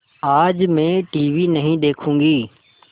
आज मैं टीवी नहीं देखूँगी